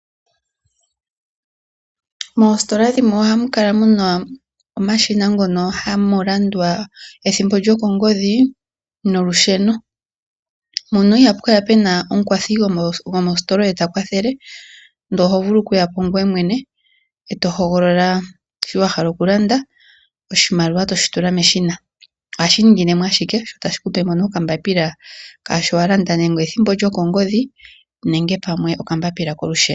Moositola dhimwe ohamu kala mu na omashina ngono hamu landwa ethimbo lyokongodhi nolusheno. Ihapu kala pu na omukwathi gomositola oye ta kwathele, ndele oho vulu okuya po ngoye mwene e to hogolola shi wala okulanda, oshimaliwa to shi tula meshina. Ohashi ningine mo ashike sho tashi ku pe mo nee okambapila kaashi wa landa nenge ethimbo lyokongodhi nenge pamwe okambapila kolusheno.